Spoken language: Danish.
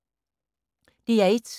DR1